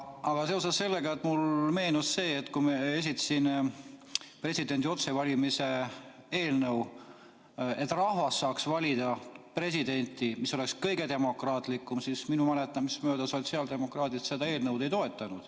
Aga seoses sellega mulle meenus, et kui esitasin presidendi otsevalimise eelnõu, et rahvas ise saaks valida presidenti, sest see oleks kõige demokraatlikum, siis minu mäletamist mööda sotsiaaldemokraadid seda eelnõu ei toetanud.